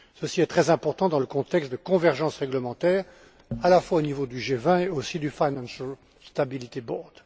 Ceci est très important dans le contexte de convergence réglementaire à la fois au niveau du G20 et aussi du Financial stability board